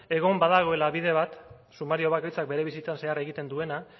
egon badagoela bide bat sumario bakoitzak bere bizitzan zehar egiten duena